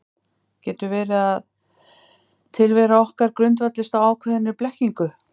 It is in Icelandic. Getur verið að tilvera okkar grundvallist á ákveðinni blekkingu?